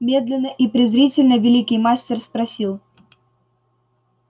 медленно и презрительно великий мастер спросил